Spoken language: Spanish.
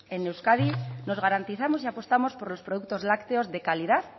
en euskadi nos garantizamos y apostamos por los productos lácteos de calidad